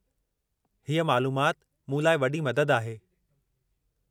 हीअ मालूमाति, मूं लाइ वॾी मददु आहे।